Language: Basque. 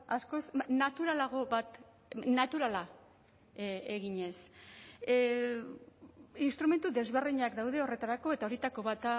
askoz naturalago bat naturala eginez instrumentu desberdinak daude horretarako eta horietako bat